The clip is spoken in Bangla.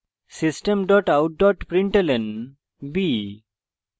system out println b;